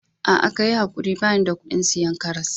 Aa, ka yi ankuri bani da kudin siyan karras.